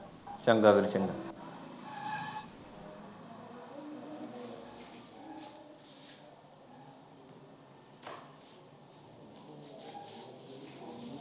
ਚੰਗਾ ਵੀਰ